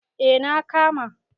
eh na kama